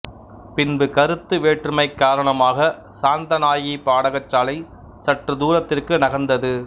பின்பு கருத்து வேற்றுமை காரணமாக சாந்தநாயகி பாடசாலை சற்றுத்தூரத்திற்கு நகர்ந்தது